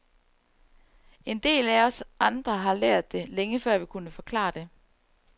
En del af os andre har lært det, længe før vi kunne forklare det.